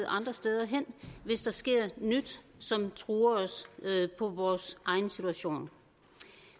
andre steder hen hvis der sker nyt som truer os på vores egen situation